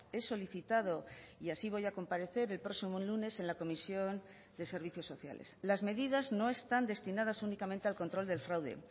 he solicitado y así voy a comparecer el próximo lunes en la comisión de servicios sociales las medidas no están destinadas únicamente al control del fraude